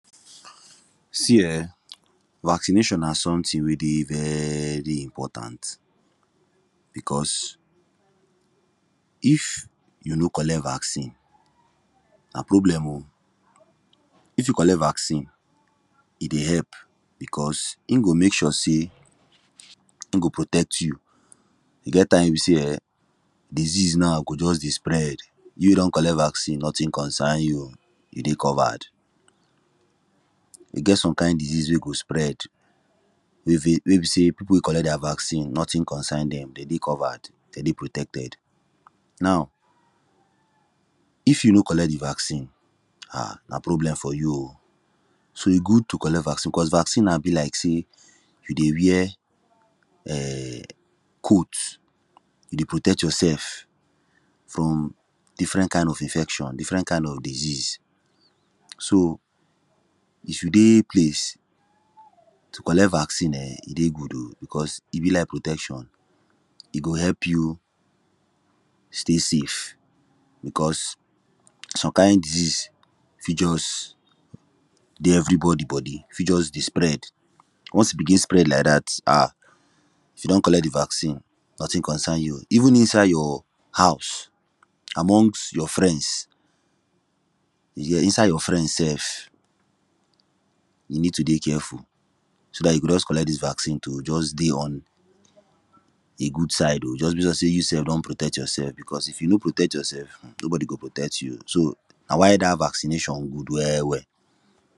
see um vaccination na somtin wey dey very impotant bicos if you no collect vaccin na problem oh if u collect vaccin e dey help because in go mek sure sey in go protect you e get time we be sey um disease now go just dey spread you wey don collect vaccin notin concern you dey covered e get some kind disease wen go spread wey be sey wey be say people wey collet their vaccin notin comcern dem dem dey covered den dey protected now if you no collect di vaccin um na problem for you oh so e good to collect vaccin because vaccin na be like sey you dey wear um coat e dey protect yourself from different kind of infection different kind of disease so if you dey place to collect vaccin um e dey good o because e be like protection e go help you stay safe becuse some kind diseases fi just dey evrybodi bodi fi just dey spread ones e begin spread like dat um if you don collect di vaccin notin concern you even inside your house among your friends yea inside your friends self you need to dey careful so dat you go just collect dis vaccin to just dey on di good side oh just because sey you self don protect yourself because if you no protect yourself nobody go protect you so na why da vacination good well well